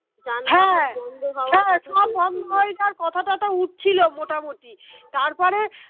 সব বন্ধ হয়ে যাওয়ার কথা টথা উঠছিল মোটামুটি তারপরে